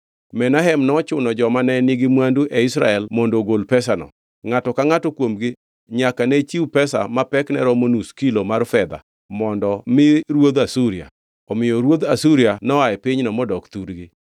Menahem nochuno joma ne nigi mwandu e Israel mondo ogol pesano. Ngʼato ka ngʼato kuomgi nyaka ne chiw pesa ma pekne romo nus kilo mar fedha mondo mi ruodh Asuria. Omiyo ruodh Asuria noa e pinyno modok thurgi.